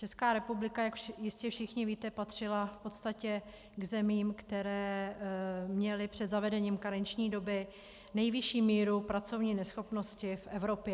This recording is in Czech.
Česká republika, jak jistě všichni víte, patřila v podstatě k zemím, které měly před zavedením karenční doby nejvyšší míru pracovní neschopnosti v Evropě.